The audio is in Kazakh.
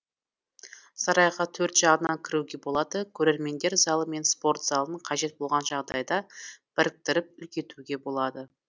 сарайға төрт жағынан кіруге болады көрермендер залы мен спорт залын қажет болған жағдайда біріктіріп үлкейтуге болады